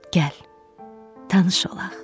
Gəl, tanış olaq.